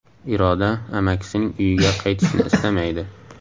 Iroda amakisining uyiga qaytishni istamaydi.